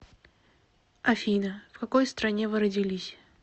афина в какой стране вы родились